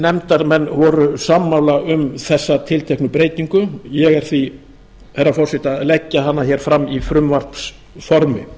nefndarmenn voru sammála um þessa tilteknu breytingu ég er því herra forseti að leggja hana hér fram í frumvarpsformi